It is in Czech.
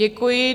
Děkuji.